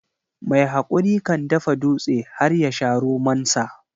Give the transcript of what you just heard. Mai hakuri kan dafa dutse har yasha romonsa.